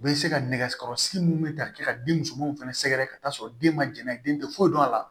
U bɛ se ka nɛgɛso kɔrɔsigi min bɛ ka kɛ ka den musomanw fana sɛgɛrɛ ka taa sɔrɔ den ma jɛnna den tɛ foyi dɔn a la